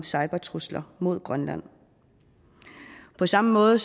cybertrusler mod grønland på samme måde